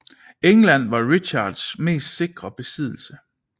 England var Richards mest sikre besiddelse